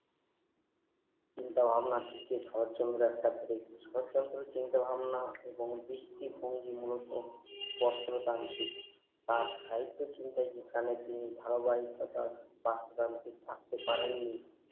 চিন্তা ভাবনা শরৎচন্দ্র একটা break শরৎচন্দ্র চিন্তা ভাবনা এবং দৃষ্টি ভঙ্গি মূলত যত্র তার ঠিক তার সাহিত্য ধারাবহিকতা বাসবাদী ছাড়তে পারেননি